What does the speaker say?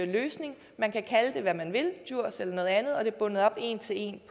løsning man kan kalde det hvad man vil djurs eller noget andet og det er bundet op en til en